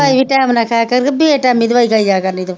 ਚਵਾਈ ਵੀ time ਨਾਲ ਖਾਇਆ ਕਰ ਕਿ ਬੇਟਾਈਮੀ ਦਵਾਈ ਖਾਈ ਜਾਇਆ ਕਰਦੀ ਤੂੰ